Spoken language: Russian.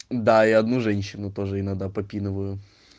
да и одну женщину тоже иногда попинываю